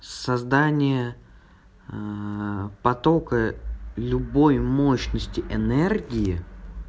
создание потока любой мощности энергии